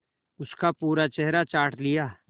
उसका पूरा चेहरा चाट लिया